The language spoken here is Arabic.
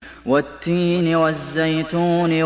وَالتِّينِ وَالزَّيْتُونِ